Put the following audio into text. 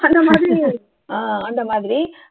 அந்த மாதிரி ஆஹ் அந்த மாதிரி